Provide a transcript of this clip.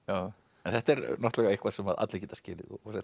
en þetta er eitthvað sem allir geta skilið